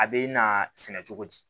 A bɛ na sɛnɛ cogo di